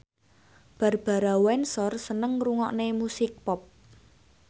Barbara Windsor seneng ngrungokne musik pop